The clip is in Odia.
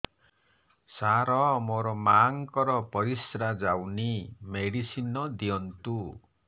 ସାର ମୋର ମାଆଙ୍କର ପରିସ୍ରା ଯାଉନି ମେଡିସିନ ଦିଅନ୍ତୁ